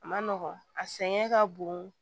A ma nɔgɔn a sɛgɛn ka bon